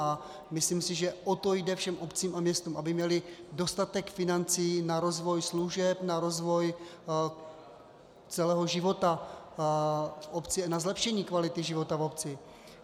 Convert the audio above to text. A myslím si, že o to jde všem obcím a městům, aby měly dostatek financí na rozvoj služeb, na rozvoj celého života v obci, na zlepšení kvality života v obci.